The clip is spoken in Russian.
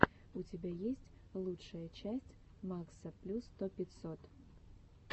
у тебя есть лучшая часть макса плю сто пятьсот